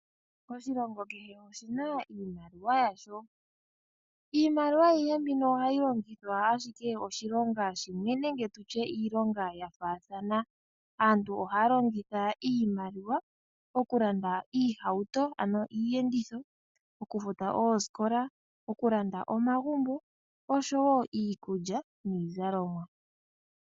Oshilongo kehe oshina iimaliwa yasho nohayi longithwa ashike oshinonga shimwe nenge ya faathana. Aantu ohaya longitha iimaliwa oku landa iihauto ano iiyenditho, oku futa oosikoka, oku landa omagumbo osho woo iikulya niizalomwa.